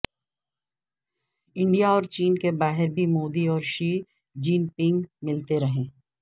India اور چین کے باہر بھی مودی اور شی جن پنگ ملتے رہے